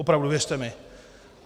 Opravdu, věřte mi.